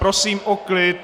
Prosím o klid!